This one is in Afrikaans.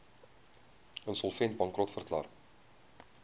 insolvent bankrot verklaar